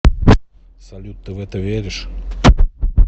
салют ты в это веришь